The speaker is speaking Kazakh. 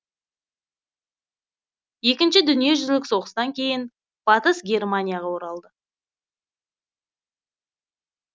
екінші дүние жүзілік соғыстан кейін батыс германияға оралды